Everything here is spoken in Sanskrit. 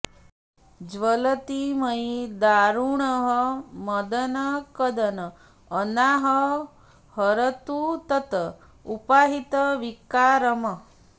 ज्वलति मयि दारुणः मदन कदन अनाः हरतु तत् उपाहित विकारम्